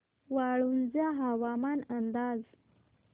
वाळूंज हवामान अंदाज